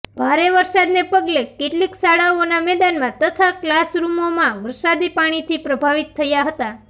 ભારે વરસાદને પગલે કેટલીક શાળાઓના મેદાનમાં તથા કલાસરૃમોમાં વરસાદી પાણીથી પ્રભાવિત થયા હતા